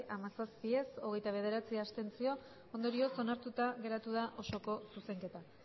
hamazazpi ez hogeita bederatzi abstentzio ondorioz onartuta geratu da osoko zuzenketa